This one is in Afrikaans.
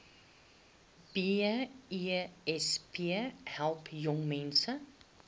besp help jongmense